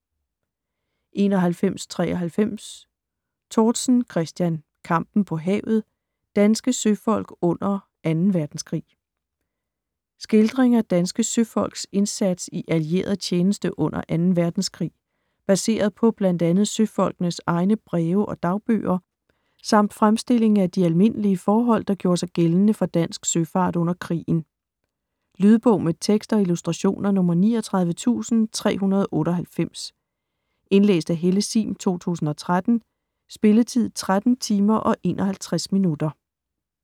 91.93 Tortzen, Christian: Kampen på havet: danske søfolk under Anden Verdenskrig Skildring af danske søfolks indsats i allieret tjenste under 2. verdenskrig, baseret på bl.a. søfolkenes egne breve og dagbøger, samt fremstilling af de almindlige forhold der gjorde sig gældende for dansk søfart under krigen. Lydbog med tekst og illustrationer 39398 Indlæst af Helle Sihm, 2013. Spilletid: 13 timer, 51 minutter.